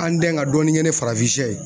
An dɛn ka dɔɔni kɛ ni farafinsɛ ye.